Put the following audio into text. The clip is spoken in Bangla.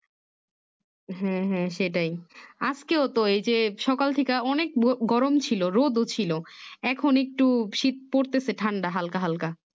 হম হম সেটাই আজকেও তো এই যে সকাল থেকা অনেক গরম ছিল রোদও ছিল এখন একটু শীত পড়তেছে ঠান্ডা হালকা হালকা